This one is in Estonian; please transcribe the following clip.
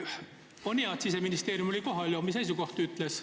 On hea, et Siseministeeriumi esindaja oli kohal ja omi seisukohti ütles.